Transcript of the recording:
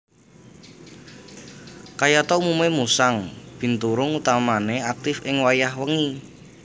Kayata umume musang binturung utamane aktif ing wayah wengi